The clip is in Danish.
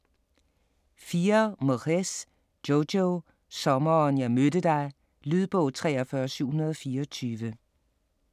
4. Moyes, Jojo: Sommeren jeg mødte dig Lydbog 43724